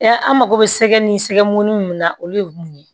Ya an mako bɛ sɛ ni sɛmunin min na olu ye mun ye